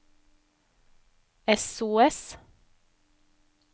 sos